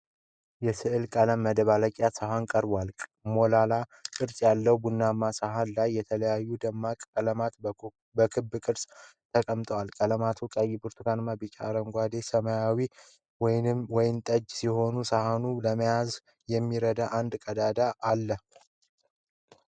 የሥዕል ቀለም መደባለቂያ ሳህን ቀርቧል። ሞላላ ቅርጽ ባለው ቡናማ ሳህን ላይ የተለያዩ ደማቅ ቀለማት በክብ ቅርጽ ተቀምጠዋል። ቀለማቱ ቀይ፣ ብርቱካናማ፣ ቢጫ፣ አረንጓዴ፣ ሰማያዊና ወይን ጠጅ ሲሆኑ፣ ሳህኑም ለመያዝ የሚረዳ አንድ ቀዳዳ አለው።